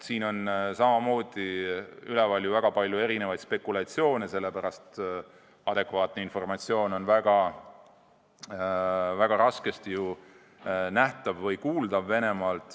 Üleval on väga palju erinevaid spekulatsioone, sest adekvaatne informatsioon Venemaalt on väga raskesti nähtav või kuuldav.